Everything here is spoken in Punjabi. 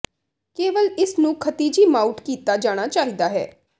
ਕੇਵਲ ਇਸ ਨੂੰ ਖਿਤਿਜੀ ਮਾਊਟ ਕੀਤਾ ਜਾਣਾ ਚਾਹੀਦਾ ਹੈ